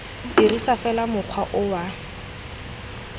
dirisa fela mokgwa o wa